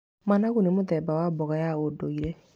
Managu nĩ mũthemba wa mboga ya ũndũire.